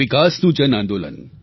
વિકાસનું જન આંદોલન